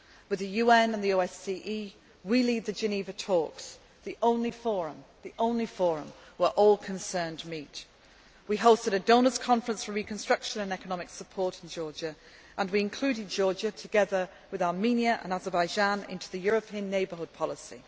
region. With the UN and OSCE, we lead the Geneva talks, the only forum where all concerned meet. We hosted a donors' conference for reconstruction and economic support in Georgia and we included Georgia together with Armenia and Azerbaijan in the European Neighbourhood